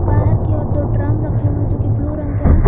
बाहर की ओर दो ड्रम रखे हुए जो की ब्लू रंग के हैं।